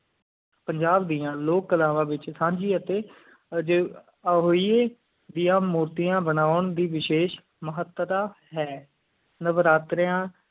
ਪੰਜਾਬ ਦੀਆ ਲੋਕ ਕਲਾਵਾਂ ਵਿਚ ਸਾਂਝੀਆਂ ਅਤਿ ਹੋਈਏ ਦੀਆਂ ਮੋਤੀਆਂ ਬਣੋਂ ਦੀ ਵਸ਼ੀਸ਼ ਮਹੱਤਤਾ ਹੈ ਨਵਰਾਤਰੇ